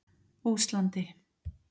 Óslandi